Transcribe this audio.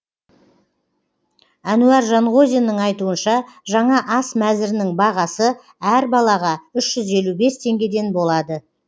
әнуар жанғозиннің айтуынша жаңа ас мәзірінің бағасы әр балаға үш жүз елу бес теңгеден болады